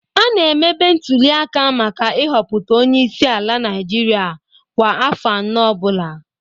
A na-emebe ntulịaka maka ịhọpụta Onye isi ala Naịjirịa kwa afọ anọ ọ bụla